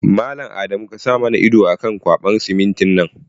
Mallam Adamu kasa mana ido akan ƙwaɓan simintin nan